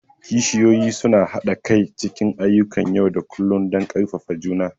kishiyoyi suna haɗa kai cikin ayyukan yau da kullun don ƙarfafa juna.